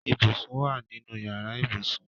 Ibùsùn wa nínú yàrá ibùsùn